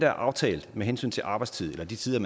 er aftalt med hensyn til arbejdstid eller de tider